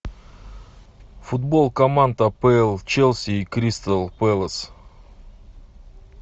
футбол команд апл челси и кристал пэлас